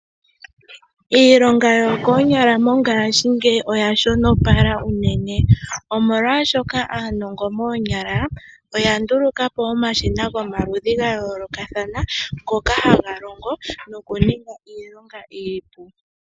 Iilonga yo koonyala mongashingeyi oya shonopala unene, molwashono aanongo moonyala oya nduluka po omashina ga yoolokathana ngoka haga longo noku ninga iilonga iipu.